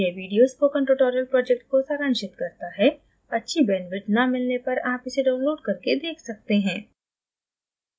यह video spoken tutorial project को सारांशित करता है अच्छी bandwidth न मिलने पर आप इसे download करके देख सकते हैं